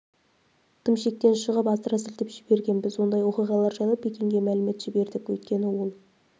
тым шектен шығып асыра сілтеп жіберген біз ондай оқиғалар жайлы пекинге мәлімет жібердік өйткені ол